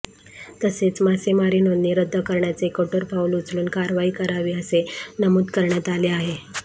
तसेच मासेमारी नोंदणी रद्द करण्याचे कठोर पाऊल उचलून कारवाई करावी असे नमूद करण्यात आले आहे